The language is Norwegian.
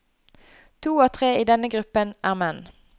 To av tre i denne gruppen er menn.